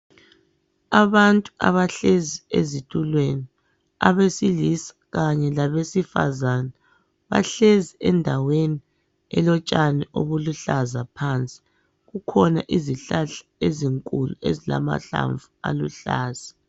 Abantu abahlezi ezitulweni abesilisa kanye labesifazana, bahlezi endaweni elotshani obuluhlaza phansi. Kukhona izihlahla ezinkulu ezilamahlamvu aluhlaza.